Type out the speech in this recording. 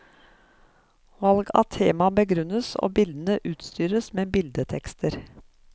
Valg av tema begrunnes, og bildene utstyres med bildetekster.